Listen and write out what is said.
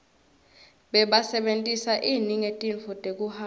bebasebentisa ini ngetintfo tekuhamba